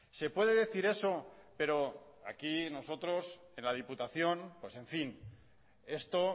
se puede decir eso pero aquí nosotros en la diputación pues en fin esto